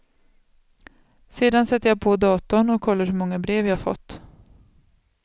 Sedan sätter jag på datorn och kollar hur många brev jag fått.